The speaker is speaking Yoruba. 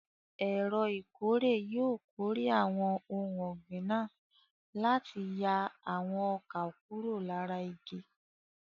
Ẹ̀rọ ìkórè yóò kórè àwọn ohun ọ̀gbìn náà láti yà àwọn ọkà kúrò lára igi.